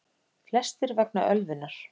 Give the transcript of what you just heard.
Flestir vegna ölvunar